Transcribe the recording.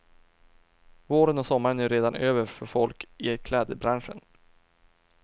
Våren och sommaren är ju redan över för folk i klädbranschen.